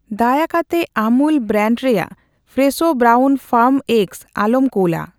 ᱫᱟᱭᱟ ᱠᱟᱛᱮ ᱟᱢᱩᱞ ᱵᱨᱟᱱᱰ ᱨᱮᱭᱟᱜ ᱯᱷᱨᱮᱥᱷᱳ ᱵᱨᱟᱣᱩᱱ ᱯᱷᱟᱨᱢ ᱮᱜᱜᱥ ᱟᱞᱚᱢ ᱠᱩᱞᱟ ᱾